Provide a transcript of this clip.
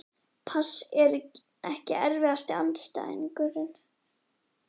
pass Ekki erfiðasti andstæðingur?